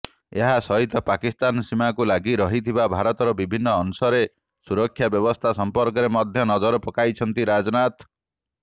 ଏହାସହିତ ପାକିସ୍ତାନ ସୀମାକୁ ଲାଗିରହିଥିବା ଭାରତର ବିଭିନ୍ନ ଅଂଶରେ ସୁରକ୍ଷା ବ୍ୟବସ୍ଥା ସମ୍ପର୍କରେ ମଧ୍ୟ ନଜର ପକାଇଛନ୍ତି ରାଜନାଥ